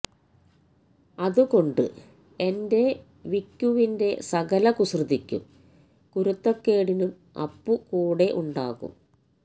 അത് കൊണ്ട് എന്റെ വിക്കുവിന്റെ സകല കുസൃതിക്കും കുരുത്തക്കേടിനും അപ്പു കൂടെ ഉണ്ടാകും